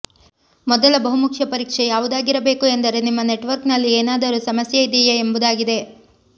ಮೊದಲ ಬಹುಮುಖ್ಯ ಪರೀಕ್ಷೆ ಯಾವುದಾಗಿರಬೇಕು ಎಂದರೆ ನಿಮ್ಮ ನೆಟ್ ವರ್ಕ್ ನಲ್ಲಿ ಏನಾದರೂ ಸಮಸ್ಯೆ ಇದೆಯೇ ಎಂಬುದಾಗಿದೆ